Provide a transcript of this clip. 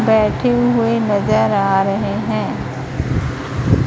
बैठे हुए नजर आ रहे हैं।